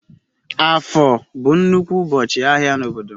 Afo bu nnukwu ubochi ahia n'obodo m.